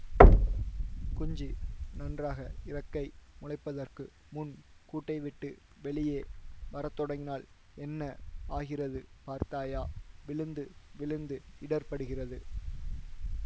குஞ்சு நன்றாக இறக்கை முளைப்பதற்கு முன் கூட்டைவிட்டு வெளியே வரத்தொடங்கினால் என்ன ஆகிறது பார்த்தாயா விழுந்து விழுந்து இடர்ப்படுகிறது